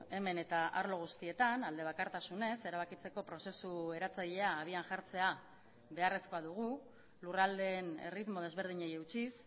hemen eta arlo guztietan alde bakartasunez erabakitzeko prozesu eratzailea abian jartzea beharrezkoa dugu lurraldeen erritmo desberdinei eutsiz